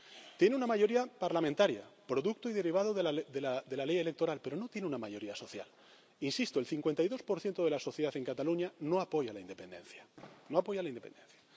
Tiene una mayoría parlamentaria, producto y derivada de la Ley electoral, pero no tiene una mayoría social. Insisto el 52 de la sociedad en Cataluña no apoya la independencia, no apoya la independencia.